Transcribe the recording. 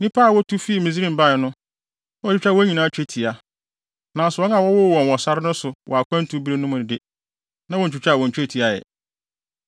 Nnipa a wotu fii Misraim bae no, na wɔatwitwa wɔn nyinaa twetia, nanso wɔn a wɔwowoo wɔn wɔ sare no so wɔ akwantu bere no mu no de, na wontwitwaa wɔn twetia ɛ.